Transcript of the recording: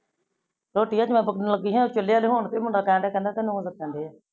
ਰੋਟੀ ਹਜੇ ਬਬਲੂ ਨੂ ਦੇਣ ਲਾਗੀ ਆ ਓਹ ਚਾਲਇਆ ਦਿਖਣ ਫ਼ਰ ਮੁੰਡਾ ਟੇ ਟੇ ਕੰਦਾ ਤੇਨੁ ਦਾਸਨ ਦੇ ਆ